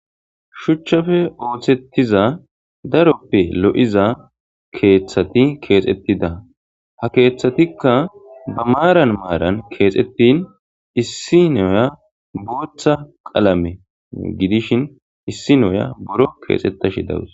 Shuchchafe ooththettiza daroppe lo7iza keeththati keexettida ha keeththatikka ba maaran maaran keexettin issi noya booththa qalame gidishin issi noya boro keexettashi dawus.